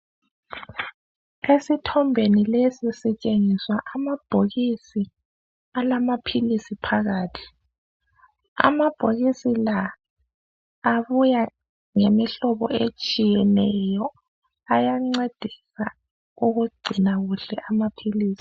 Esithombeni lesi sitshengiswa amabhokisi alamaphilisi phakathi. Amabhokisi la abuya ngemihlobo etshiyeneyo ayancedisa ukugcina kuhle amaphilisi.